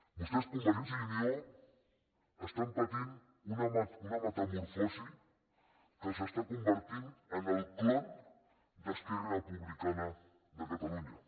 vostès convergència i unió pateixen una metamorfosi que els està convertint en el clon d’esquerra republicana de catalunya